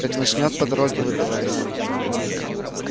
как начнёт по дороге выдавать